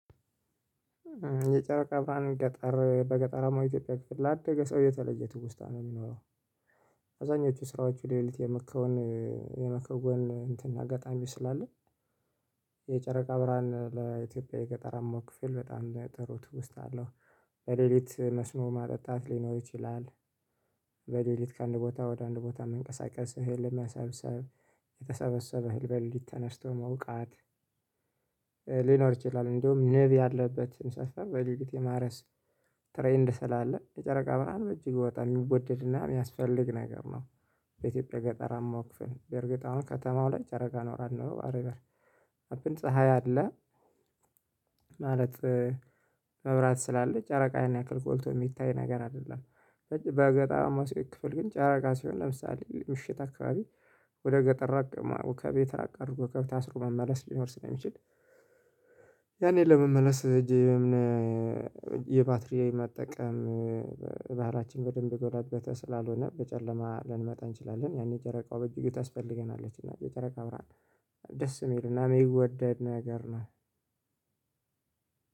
የጨረቃ ብርሃን ገጠር በገጠራማ ኢትዮጵያ ክፍል ላደገ ሰው እየተለየ ትውስታ ነው የሚኖረው። አብዛኞቹ ስራዎቹ ለሊት የመከው የመከውን እንትን አጋጣሚ ስላለ። የጨረቃ ብርሃን ለኢትዮጵያ የገጠርማው ክፍል በጣም ጥሩ ትውስታ አለሁ። በሌሊት መስኖ ማጠጣት ሊኖር ይችላል። በሌሊት ከአንድ ቦታ ወደ አንድ ቦታ መንቀሳቀስ እህል ለማሰብሰብ የተሰበሰበ እህል ተነስቶ መውቃት። ሊኖር ይችላል እንደውም ነብር ያለበትን ሰፈር በለልት የማረስ ትሬንድ ስላለ የጨረቃ ብርሃን በእጅግ በጣም የሚወደድና የሚያስፈልግ ነገር ነው። በኢትዮጵያ ገጠርማ ክፍን በእርግጥ አሁን ከተማው ላይ ጨረቃ ኖራ አልኖር ዋት አቭር ሀፕን ፀሀይ አለ። ማለት መብራት ስላለ ጨረቃ ያን ያክል ጎልቶ የሚታይ ነገር አይደለም። በገጣራማው ክፍል ግን ጨረቃ ሲሆን ለምሳሌ ምሽት አካባቢ ወደ ገጠራ ከቤት እራቅ አርጎ ከብት አስሮ መመለስ ሊኖር ስለሚችል። ያኔ ለመመለስ እጄ የባትሪ መጠቀም። ባህለችን በደንብ የጎለበተ ስላልሆነ በጨለማ ልንመጣ እንችላለን ያኔ ጨረቃው በእጅጉ ታስፈልገናለች እና የጨረቃ ብርሃን ደስ የሚልና የሚወደድ ነገር ነው።